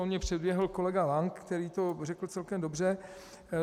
On mě předběhl kolega Lank, který to řekl celkem dobře.